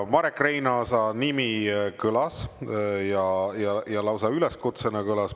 Marek Reinaasa nimi kõlas ja lausa üleskutsena kõlas.